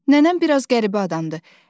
Nənəm biraz qəribə adamdır.